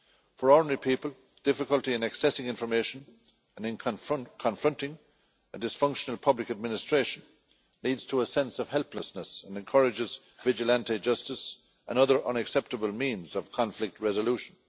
For ordinary people, difficulty in accessing information and in confronting a dysfunctional public administration leads to a sense of helplessness and encourages vigilante justice and other unacceptable means of conflict resolution.